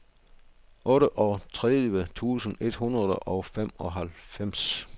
otteogtredive tusind et hundrede og femoghalvfems